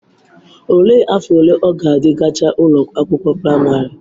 Olee afọ ole ọ gadi gachaa ụlọ akwụkwọ praịmarị?